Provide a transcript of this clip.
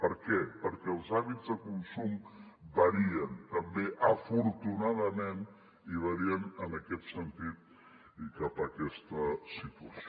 per què perquè els hàbits de consum varien també afortunadament i varien en aquest sentit i cap a aquesta situació